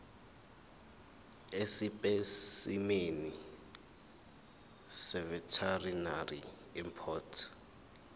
esipesimeni seveterinary import